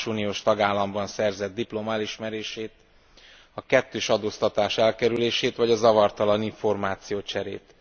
a más uniós tagállamban szerzett diploma elismerését, a kettős adóztatás elkerülését vagy a zavartalan információcserét.